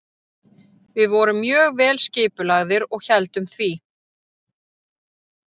Við vorum mjög vel skipulagðir og héldum því.